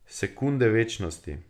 Sekunde večnosti.